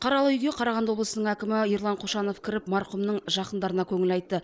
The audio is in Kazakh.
қаралы үйге қарағанды облысының әкімі ерлан қошанов кіріп марқұмның жақындарына көңіл айтты